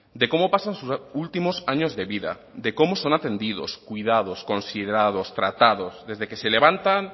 de cómo pasan sus últimos años de vida de cómo son atendidos cuidados considerados tratados desde que se levantan